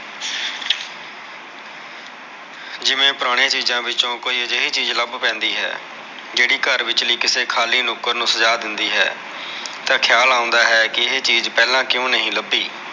ਜਿਵੇ ਪੁਰਾਣੀ ਚੀਜਾ ਵਿਚੋ ਕੋਈ ਅਜੇਹੀ ਚੀਜ ਲਭ ਪੈਂਦੀ ਹੈ ਜਿਹੜੀ ਘਰ ਵਿਚਲੀ ਕਿਸੇ ਖਾਲੀ ਨੂਕਾਰ ਨੂ ਸਜਾ ਦਿੰਦੀ ਹੈ ਤਾ ਖਿਆਲ ਆਉਂਦਾ ਹੈ ਕੇ ਇਹ ਚੀਜ ਪਹਿਲਾ ਕਿਉ ਨਹੀ ਲਭੀ